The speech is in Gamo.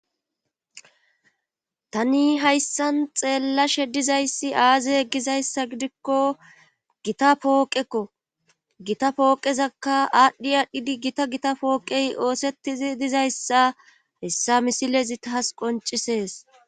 Tani hayssan xeellashe dizayssi aaze gizayssa gidikko gita pooqekko gita pooqezakka aadhdhi aadhdhidi gita gita pooqey oosettizi dizayssa haessa misilezi taas qoncisees